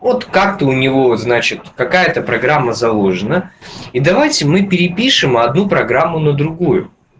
от карты у него значит какая-то программа заложена и давайте мы перепишем одну программу на другую